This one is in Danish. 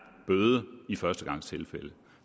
bøde i førstegangstilfælde